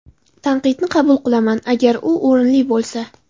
Tanqidni qabul qilaman, agar u o‘rinli bo‘lsa.